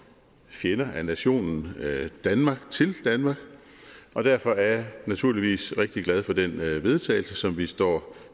fjender af nationen danmark til danmark og derfor er jeg naturligvis rigtig glad for den vedtagelse som vi står